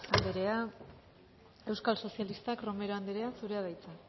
andrea euskal sozialistak romero andrea zurea da hitza